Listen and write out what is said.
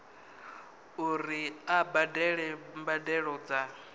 uri a badele mbadelo dza